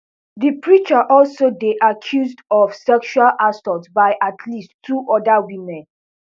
di preacher also dey accused of sexual assault by at least two oda women